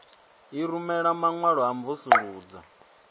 i rumela maṅwalo a mvusuludzo